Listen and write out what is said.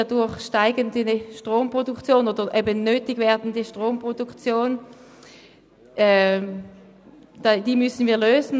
Wir müssen die dadurch nötig werdende steigende Stromproduktion schaffen.